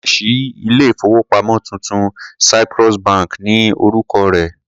Wọ́n ṣẹ̀ ṣí ilé-ìfowópamọ́ tuntun, Cyprus bank ni orúkọ rẹ̀.